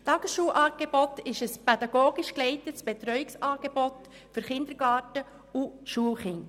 Das Tagesschulangebot ist ein pädagogisch geleitetes Betreuungsangebot für Kindergarten- und Schulkinder.